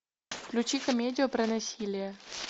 включи комедию про насилие